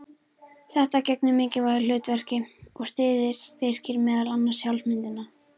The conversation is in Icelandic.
Þetta gegnir mikilvægu hlutverki og styrkir meðal annars sjálfsmyndina.